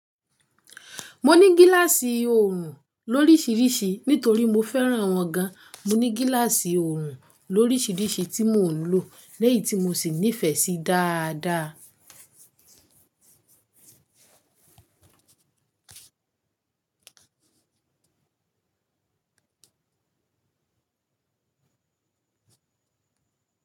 Mo ni gilaasi orun lo'risirisi nitori mo feran wan gan. Mo ní gíláàsì òòrùn lórísìírísìí tí mò ń lò lẹ́yì tí mo sì nífẹ̀ẹ́ sí dáadáa.